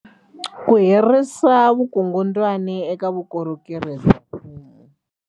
Ku herisa vukungundwani eka vukorhokeri bya mfumo.